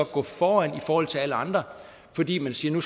gå foran i forhold til alle andre fordi man siger